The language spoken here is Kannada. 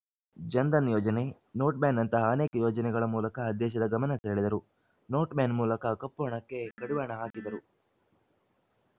ಜನ್‌ಧನ್‌ ಯೋಜನೆ ನೋಟ್‌ ಬ್ಯಾನ್‌ನಂತಹ ಅನೇಕ ಯೋಜನೆಗಳ ಮೂಲಕ ದೇಶದ ಗಮನ ಸೆಳೆದರು ನೋಟ್‌ ಬ್ಯಾನ್‌ ಮೂಲಕ ಕಪ್ಪುಹಣಕ್ಕೆ ಕಡಿವಾಣ ಹಾಕಿದರು